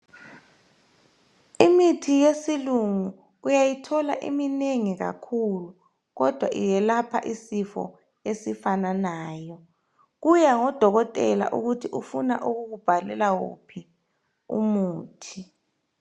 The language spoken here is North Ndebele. Imithi yesilungu uyayithola iminengi kakhulu kodwa iyelapha isifo esifananayo. Kuya ngodokotela ukuthi ufuna ukukubhalela uphi umuthi.